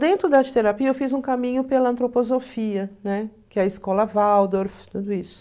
Dentro da arte-terapia, eu fiz um caminho pela antroposofia, né, que é a escola Waldorf, tudo isso.